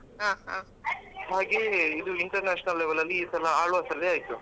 ಹಾಗೆ ಇದು international level ಅಲ್ಲಿ ಈ ಸಲ Alva's ಅಲ್ಲಿ ಆಯ್ತು.